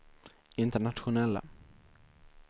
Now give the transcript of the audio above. internationella